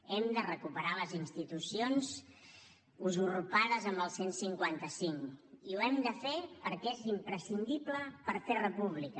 hem de recuperar les institucions usurpades amb el cent i cinquanta cinc i ho hem de fer perquè és imprescindible per fer república